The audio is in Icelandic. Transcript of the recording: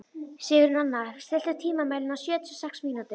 Sigurnanna, stilltu tímamælinn á sjötíu og sex mínútur.